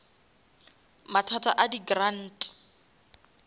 mathata a di grant